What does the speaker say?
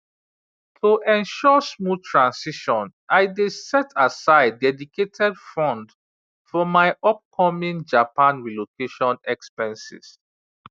to ensure smooth transition i dey set aside dedicated fund for my upcoming japan relocation expenses